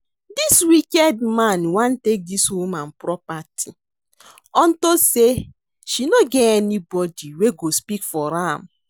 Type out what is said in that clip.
Dis wicked man wan take dis woman property unto say she no get anybody wey go speak for am